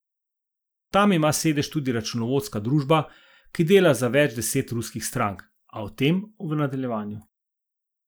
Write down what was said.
Tam ima sedež tudi računovodska družba, ki dela za več deset ruskih strank, a o tem v nadaljevanju.